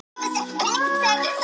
Ég er svo stoltur af þér.